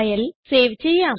file save ചെയ്യാം